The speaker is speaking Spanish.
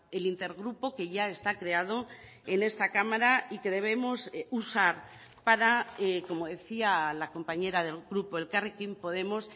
el intergrupo que ya está creado en esta cámara y que debemos usar para como decía la compañera del grupo elkarrekin podemos